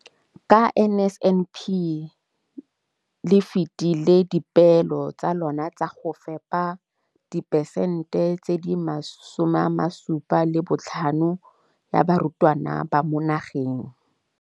Ka NSNP le fetile dipeelo tsa lona tsa go fepa masome a supa le botlhano a diperesente ya barutwana ba mo nageng.